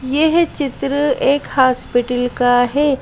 यह चित्र एक हॉस्पिटल का है।